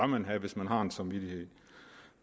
man have hvis man har en samvittighed